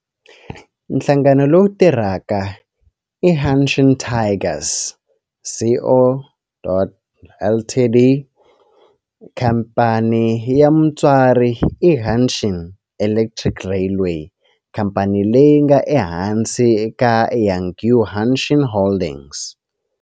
Nhlangano lowu tirhaka i Hanshin Tigers Co., Ltd. Khamphani ya mutswari i Hanshin Electric Railway, khamphani leyi nga ehansi ka Hankyu Hanshin Holdings.